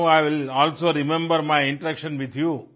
now I will also remember my interaction with you